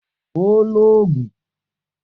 O óò loògùn!